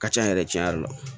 Ka ca yɛrɛ tiɲɛ yɛrɛ la